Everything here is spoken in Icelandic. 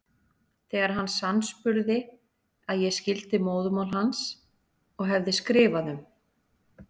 Þegar hann sannspurði að ég skildi móðurmál hans og hefði skrifað um